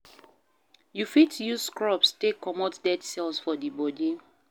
You fit use scrubs take comot dead cells for di body